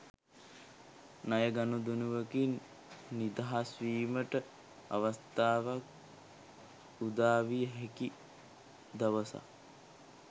ණය ගනුදෙනුවකින් නිදහස් වීමට අවස්ථාවක් උදාවිය හැකි දවසකි.